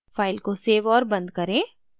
file को save और बंद करें